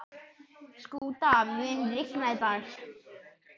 Skúta, mun rigna í dag?